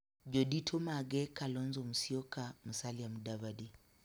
Jodito mage Kalonzo Musyoka, Musalia Mudavadi,